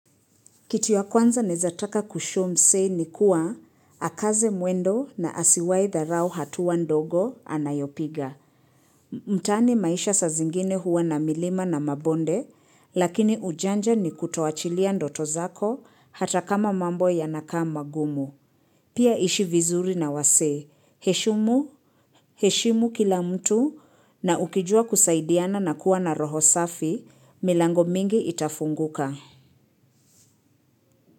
Kitu naezataka kushow msee ni kuwa akaze mwendo na asiwaidharau hatua ndogo anayopiga. Mtaani maisha saa zingine huwa na milima na mabonde, lakini ujanja ni kutowachilia ndoto zako hata kama mambo yanakaa magumu. Pia ishivizuri na wasee, heshimu, heshimu kila mtu na ukijua kusaidiana na kuwa na roho safi, milango mingi itafunguka.